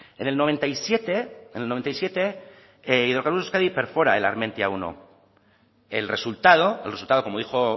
en el noventa y siete en el noventa y siete hidrocarburos euskadi perfora el armentia primero el resultado el resultado como dijo